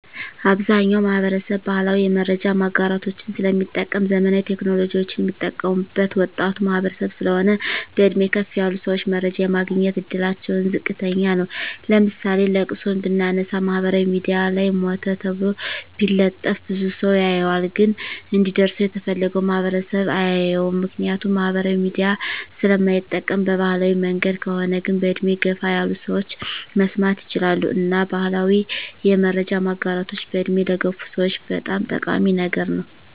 አብዛኛዉ ማህበረሰብ ባህላዊ የመረጃ ማጋራቶችን ስለሚጠቀም ዘመናዊ ቴክኖሎጂወችን ሚጠቀሙት ወጣቱ ማህበረሰብ ስለሆን በእድሜ ከፍ ያሉ ሰወች መረጃ የማግኘት እድላቸዉ ዝቅተኛ ነዉ ለምሳሌ ለቅሶን ብናነሳ ማህበራዊ ሚድያ ላይ ሞተ ተብሎ ቢለጠፍ ብዙ ሰዉ ያየዋል ግን እንዲደርሰዉ የተፈለገዉ ማህበረሰብ አያየዉም ምክንያቱም ማህበራዊ ሚዲያ ስለማይጠቀም በባህላዊ መንገድ ከሆነ ግን በእድሜ ገፋ ያሉ ሰወች መስማት ይችላሉ እና ባህላዊ የመረጃ ማጋራቶች በእድሜ ለገፉ ሰወች በጣም ጠቃሚ ነገር ነዉ